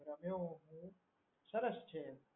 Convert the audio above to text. ગમ્યું સરસ છે એમ